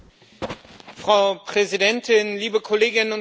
Frau Präsidentin, liebe Kolleginnen und Kollegen!